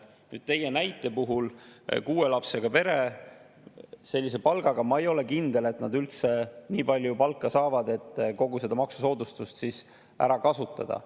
Nüüd, teie näite puhul kuue lapsega perest sellise palgaga – ma ei ole kindel, et nad üldse nii palju palka saavad, et kogu seda maksusoodustust ära kasutada.